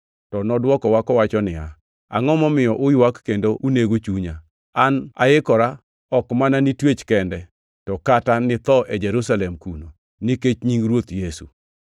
To nodwokowa kowacho niya, “Angʼo momiyo uywak kendo unego chunya? An aikora ok mana ni twech kende, to kata ni tho e Jerusalem kuno, nikech nying Ruoth Yesu.”